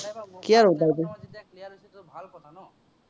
তোমাৰ যেতিয়া clear হৈছে তো ভাল কথা ন'?